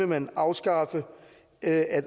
man afskaffe at